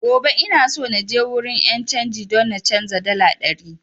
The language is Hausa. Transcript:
Gobe ina so naje wurin 'yan canji don na canza dala ɗari